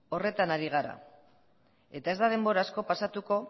horretan ari gara eta ez da denbora asko pasatuko